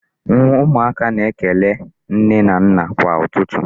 Ụmụaka na-ekele nne na nna kwa ụtụtụ.